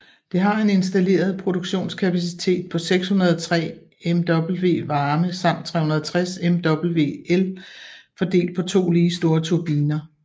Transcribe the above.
Det har en installeret produktionskapacitet på 603 MW varme samt 360 MW el fordelt på to lige store turbiner